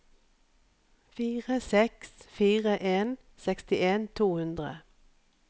fire seks fire en sekstien to hundre